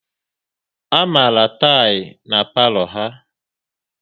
A mara tilỊ na-ala palo ha